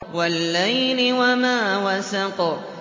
وَاللَّيْلِ وَمَا وَسَقَ